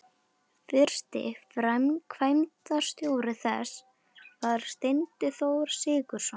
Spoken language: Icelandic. Fyrsti framkvæmdastjóri þess var Steinþór Sigurðsson.